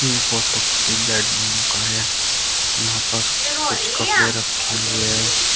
यह फोटो किसी बेडरूम का है यहां पर कुछ कपड़े रखें हुए हैं।